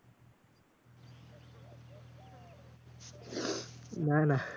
না না।